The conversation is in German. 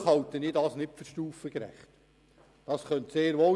Ich persönlich halte das jedoch nicht für stufengerecht.